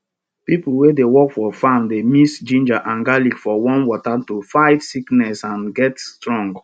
pipo wey dey work for farm dey mix ginger and garlic for warm water to fight sickness and get strong